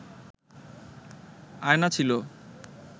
আয়না ছিল